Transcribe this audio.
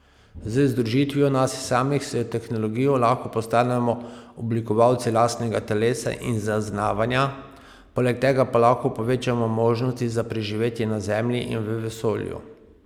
Z združitvijo nas samih s tehnologijo lahko postanemo oblikovalci lastnega telesa in zaznavanja, poleg tega pa lahko povečamo možnosti za preživetje na Zemlji in v vesolju.